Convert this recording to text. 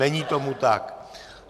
Není tomu tak.